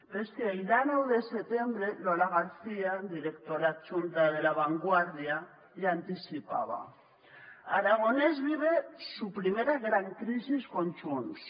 però és que el dia dinou de setembre lola garcía directora adjunta de la vanguardia ja anticipava aragonès vive su primera gran crisis con junts